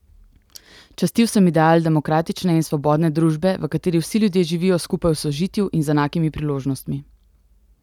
Častil sem ideal demokratične in svobodne družbe, v kateri vsi ljudje živijo skupaj v sožitju in z enakimi priložnostmi.